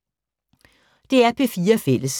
DR P4 Fælles